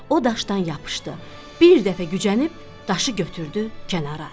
O daşdan yapışdı, bir dəfə gücənib daşı götürdü kənara atdı.